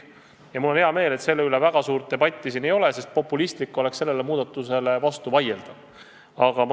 Ja mul on hea meel, et selle üle väga suurt debatti siin ei ole, sest populistlik oleks sellele muudatusele vastu vaielda.